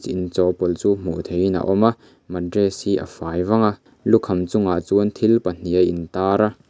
chawhpawlh chu hmuh theih in a awma matress hi a fai vang a lukham chungah chuan thil pahnih a in tar a.